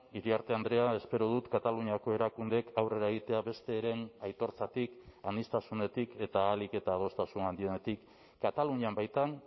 iriarte andrea espero dut kataluniako erakundeek aurrera egitea besteren aitortzatik aniztasunetik eta ahalik eta adostasun handienetik katalunian baitan